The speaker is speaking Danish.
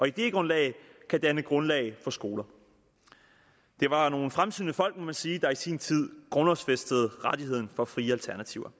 idégrundlag kan danne grundlag for skoler det var nogle fremsynede folk må man sige der i sin tid grundlovsfæstede rettigheden for frie alternativer